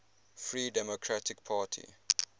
free democratic party